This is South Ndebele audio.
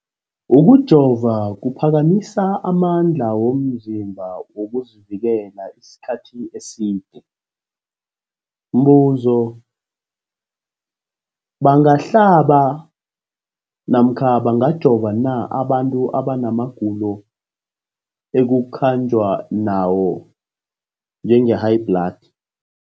Ukujova kuphakamisa amandla womzimbakho wokuzivikela isikhathi eside. Umbuzo, bangahlaba namkha bangajova na abantu abana magulo ekukhanjwa nawo, njengehayibhladi?